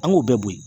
An k'o bɛɛ bo yen